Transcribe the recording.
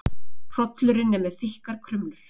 Hrollurinn er með þykkar krumlur.